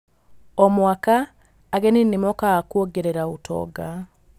O mwaka, ageni nĩ mokaga kuongerera ũtonga.